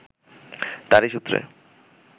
তাঁরই সূত্রে